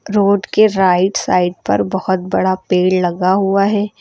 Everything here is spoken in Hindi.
रोड के राइट साइड पर बहुत बड़ा पेड़ लगा हुआ है।